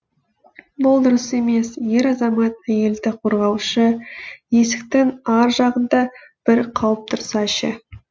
бұл дұрыс емес ер азамат әйелді қорғаушы есіктің ар жағында бір қауіп тұрса ше